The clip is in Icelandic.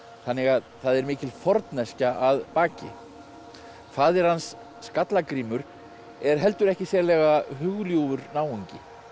þannig að það er mikil forneskja að baki faðir hans Skallagrímur er heldur ekki sérlega náungi